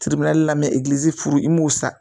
la furu i m'o sa